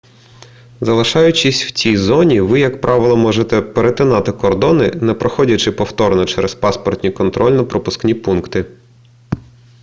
залишаючись в цій зоні ви як правило можете перетинати кордони не проходячи повторно через паспортні контрольно-пропускні пункти